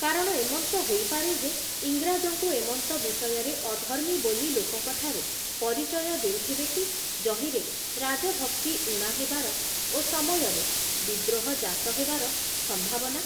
କାରଣ ଏମନ୍ତ ହୋଇପାରେ ଯେ ଇଂରାଜଙ୍କୁ ଏମନ୍ତ ବିଷୟରେ ଅଧର୍ମୀ ବୋଲି ଲୋକଙ୍କଠାରେ ପରିଚୟ ଦେଉଥିବେ କି ଯହିଁରେ ରାଜଭକ୍ତି ଊଣା ହେବାର ଓ ସମୟରେ ବିଦ୍ରୋହଜାତ ହେବାର ସମ୍ଭାବନା ।